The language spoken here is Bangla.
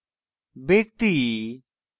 ব্যক্তি